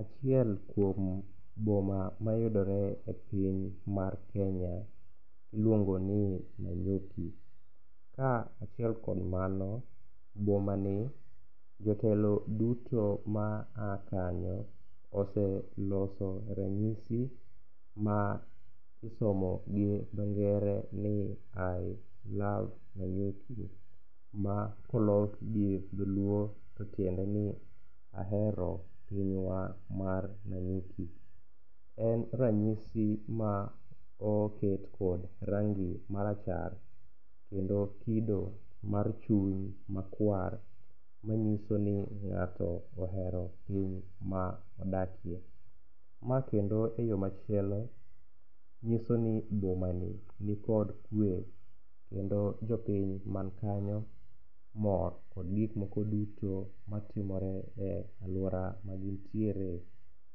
Achiel kuom boma mayudore e piny mar Kenya iluongo ni Nanyuki. Kaachiel kod mano, bomani jotelo duto maa kanyo oseloso ranyisi ma isomo gi dho ngere ni i love Nanyuki makolok gi dholuo to tiendeni ahero pinywa mar Nanyuki. En ranyisi ma oket kod rangi marachar kendo kido mar chuny makwar manyiso ni ng'ato ohero piny ma odakie. Makendo e yo machielo nyiso ni bomani nikod kwe kendo jopiny mankanyo mor kod gikmoko duto matimore e alwora magintiere